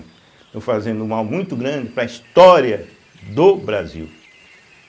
Estão fazendo um mal muito grande para a história do Brasil.